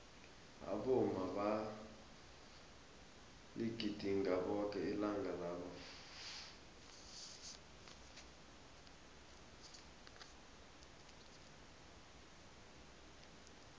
abomma baligidinga boke ilanga labo